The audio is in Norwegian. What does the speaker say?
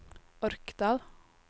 Orkdal